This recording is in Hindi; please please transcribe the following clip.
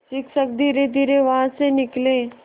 शिक्षक धीरेधीरे वहाँ से निकले